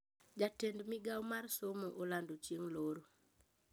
Jatend migao mar somo olando chieny loro